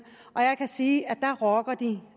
og jeg kan sige at der rocker de